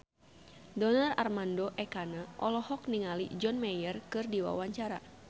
Donar Armando Ekana olohok ningali John Mayer keur diwawancara